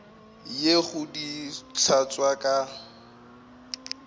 ye go di hlatswa ka